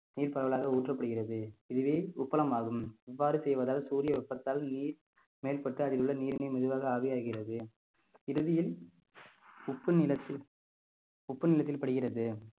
நீர் பரவலாக ஊற்றப்படுகிறது இதுவே உப்பளம் ஆகும் இவ்வாறு செய்வதால் சூரிய வெப்பத்தால் நீர் மேற்பட்டு அதில் உள்ள நீரினை மெதுவாக ஆவியாகிறது இறுதியில் உப்பு நிலத்தில் உப்பு நிலத்தில் படுகிறது